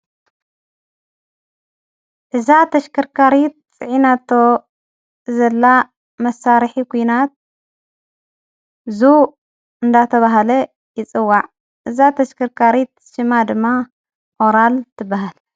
እዛ ተሽከርካሪት ጽዒናቶ ዘላ መሳርሒ ኩናት ዙ እንዳተብሃለ ይፅዋዕ እዛ ተሽከርካሪት ሽማ ድማ ኦራል ትበሃለ።